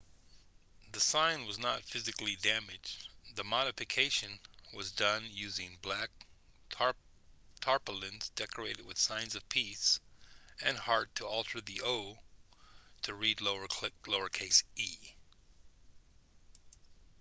the sign was not physically damaged the modification was done using black tarpaulins decorated with signs of peace and heart to alter the o to read lowercase e